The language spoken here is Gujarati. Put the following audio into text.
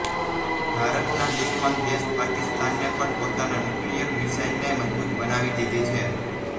ભારતના દુશ્મન દેશ પાકિસ્તાને પણ પોતાના ન્યુકલીયર મિસાઈલને મજબુત બનાવી દીધી છે